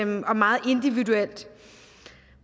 meget individuelt